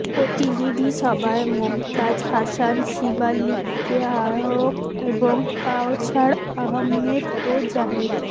প্রতিনিধি সভায় মমতাজ হাসান শিবলীকে আহ্বায়ক এবং কাওছার আহম্মেদ ও জাহেদ